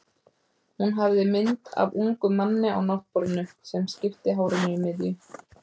Hún hafði mynd af ungum manni á náttborðinu, sem skipti hárinu í miðju.